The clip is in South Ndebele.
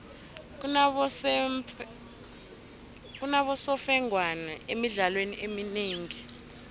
kunabosemfengwana emidlalweni eminengi